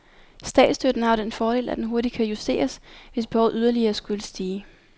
Statsstøtten har jo den fordel, at den hurtigt kan justeres, hvis behovet yderligere skulle stige.